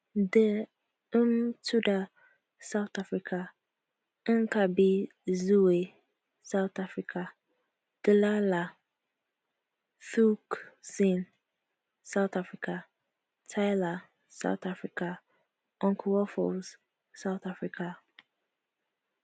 de mthuda south africa inkabi zezwe south africa dlala thukzin south africa tyla south africa uncle waffles south africa